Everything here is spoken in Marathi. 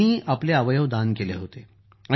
त्यांनी आपले अवयव दान केले होते